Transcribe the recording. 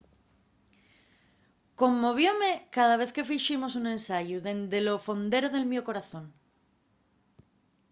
conmovióme cada vez que fiximos un ensayu dende lo fondero del mio corazón